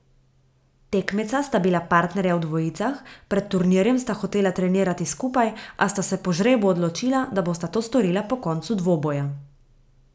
Tekmeca sta bila partnerja v dvojicah, pred turnirjem sta hotela trenirati skupaj, a sta se po žrebu odločila, da bosta to storila po koncu dvoboja.